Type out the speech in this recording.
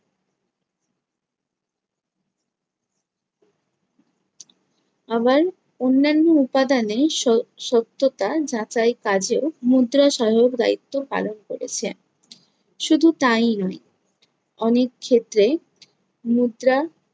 আবার অন্যান্য উপাদানের স~ সত্যতা যাচাই কাজেও মুদ্রা সহায়ক দায়িত্ব পালন করেছে। শুধু তাই নয়, অনেক ক্ষেত্রে মুদ্রা